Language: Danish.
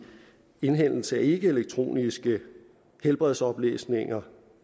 indhentning af ikkeelektroniske helbredsoplysninger